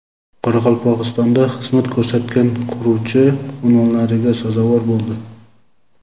Qoraqalpog‘istonda xizmat ko‘rsatgan quruvchi unvonlariga sazovor bo‘ldi.